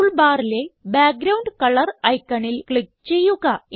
tool ബാറിലെ background colour ഐക്കണിൽ click ചെയ്യുക